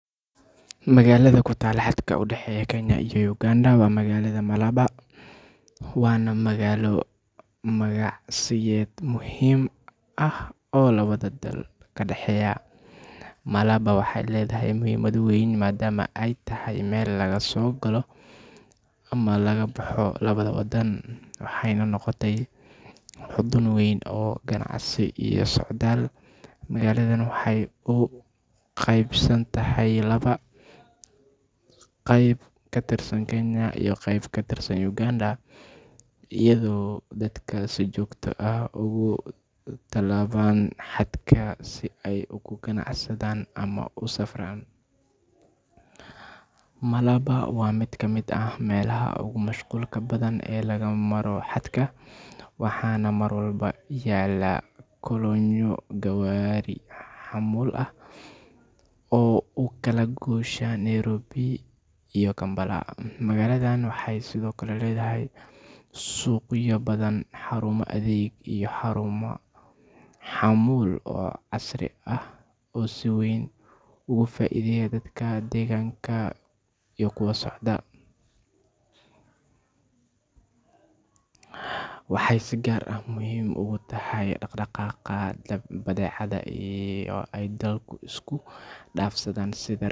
Magaalada ku taalla xadka u dhexeeya Kenya iyo Uganda waa magaalada Malaba, waana magaalo ganacsiyeed muhiim ah oo labada dal ka dhexeeya. Malaba waxay leedahay muhiimad weyn maadaama ay tahay meel laga soo galo ama laga baxo labada wadan, waxayna noqotay xudun weyn oo ganacsi iyo socdaal. Magaaladan waxay u qaybsan tahay laba, qayb ka tirsan Kenya iyo qayb ka tirsan Uganda, iyadoo dadka si joogto ah uga tallaabaan xadka si ay ugu ganacsadaan ama u safraan. Malaba waa mid ka mid ah meelaha ugu mashquulka badan ee laga maro xadka, waxaana mar walba yaalla kolonyo gawaari xamuul ah oo u kala goosha Nairobi iyo Kampala. Magaaladan waxay sidoo kale leedahay suuqyo badan, xarumo adeeg, iyo xarumo xamuul oo casri ah oo si weyn uga faa’iideeya dadka deegaanka iyo kuwa socda. Waxay si gaar ah muhiim ugu tahay dhaqdhaqaaqa badeecadaha ay dalalku isku dhaafsadaan.